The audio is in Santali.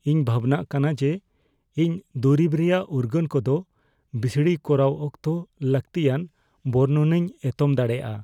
ᱤᱧ ᱵᱷᱟᱵᱽᱱᱟᱜ ᱠᱟᱱᱟ ᱡᱮ ᱤᱧ ᱫᱩᱨᱤᱵᱽ ᱨᱮᱭᱟᱜ ᱩᱨᱜᱟᱹᱱ ᱠᱚᱫᱚ ᱵᱤᱥᱲᱤ ᱠᱚᱨᱟᱣ ᱚᱠᱛᱚ ᱞᱟᱹᱠᱛᱤᱭᱟᱱ ᱵᱚᱨᱱᱚᱱᱤᱧ ᱮᱛᱚᱢ ᱫᱟᱲᱮᱭᱟᱜᱼᱟ ᱾